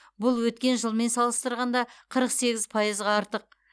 бұл өткен жылмен салыстырғанда қырық сегіз пайызға артық